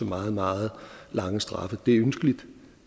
meget meget lang straf at det er ønskeligt